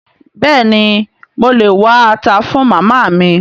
Béèni mo lè wá ata fun Màmá mi?